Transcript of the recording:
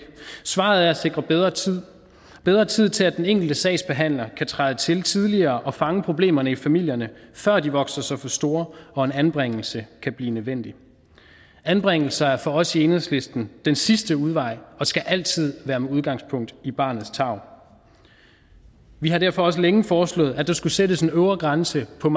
svaret er at sikre bedre tid bedre tid til at den enkelte sagsbehandler kan træde til tidligere og fange problemerne i familierne før de vokser sig for store og en anbringelse kan blive nødvendig anbringelser er for os i enhedslisten den sidste udvej og skal altid være med udgangspunkt i barnets tarv vi har derfor også længe foreslået at der skulle sættes en øvre grænse på